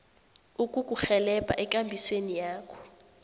ukukurhelebha ekambisweni yakho